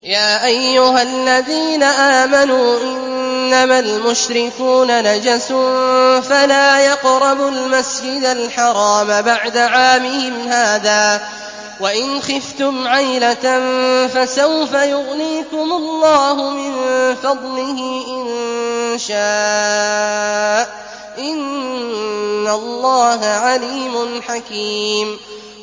يَا أَيُّهَا الَّذِينَ آمَنُوا إِنَّمَا الْمُشْرِكُونَ نَجَسٌ فَلَا يَقْرَبُوا الْمَسْجِدَ الْحَرَامَ بَعْدَ عَامِهِمْ هَٰذَا ۚ وَإِنْ خِفْتُمْ عَيْلَةً فَسَوْفَ يُغْنِيكُمُ اللَّهُ مِن فَضْلِهِ إِن شَاءَ ۚ إِنَّ اللَّهَ عَلِيمٌ حَكِيمٌ